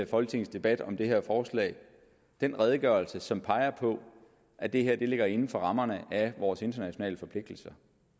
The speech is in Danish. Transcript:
folketingets debat om det her forslag en redegørelse som peger på at det her ligger inden for rammerne af vores internationale forpligtelser